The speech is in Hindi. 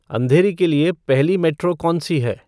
अँधेरी के लिए पहली मेट्रो कौन सी है